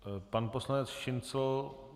Pan poslanec Šincl?